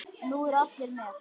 Nú eru allir með!